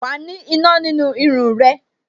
Wa ni iná nínú irun rẹ